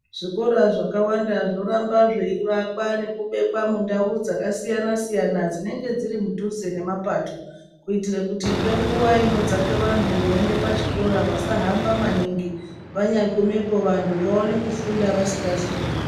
Zvikora zvakawanda zvoramba zveivakwa nekubekwa mundau dzakasiyana siyana dzinenge dziri mudhuze nemapato kuitire kuti ngenguwa inodzake vantu veiiende pachikora vasahamba maningi vanyagumepo vantu vapone kufunda vasingazi kuremba.